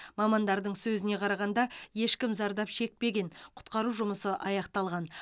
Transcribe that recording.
мамандардың сөзіне қарағанда ешкім зардап шекпеген құтқару жұмысы аяқталған